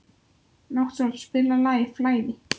Náttsól, spilaðu lagið „Flæði“.